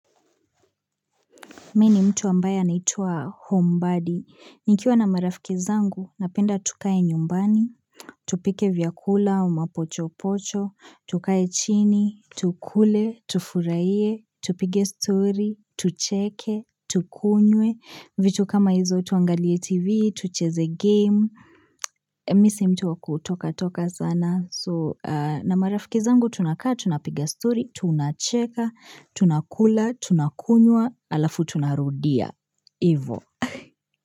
Mi ni mtu ambaye anaitwa Homebaddie Nikiwa na marafikizangu, napenda tukae nyumbani, tupike vyakula, mapochopocho, tukae chini, tukule, tufurahie, tupige story, tucheke, tukunywe, vitu kama hizo tuangalie tv, tucheze game, misi mtu wakutoka toka sana. So na marafikizangu tunakaa, tunapiga story, tunacheka, tunakula, tunakunye, ala futunarudia Ivo.